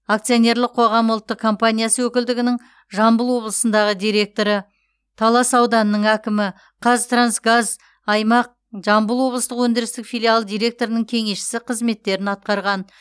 акционерлік қоғамы ұлттық компаниясы өкілдігінің жамбыл облысындағы директоры талас ауданының әкімі қазтрансгаз аймақ жамбыл облыстық өндірістік филиалы директорының кеңесшісі қызметтерін атқарған